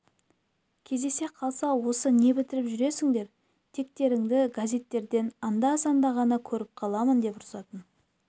кездесе қалса осы не бітіріп жүрсіңдер тектерінді газеттен анда-санда ғана көріп қаламын деп ұрсатын